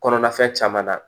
Kɔnɔna fɛn caman na